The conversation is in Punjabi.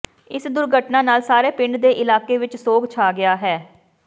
ਇਸ ਦੁਰਘਟਨਾ ਨਾਲ ਸਾਰੇ ਪਿੰਡ ਤੇ ਇਲਾਕੇ ਵਿੱਚ ਸੋਗ ਛਾ ਗਿਆ ਹੈ